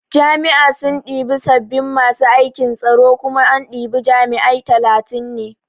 Jami'a sun ɗibi sabin masu aikin tsaro kuma an ɗibi jami'ai talatin ne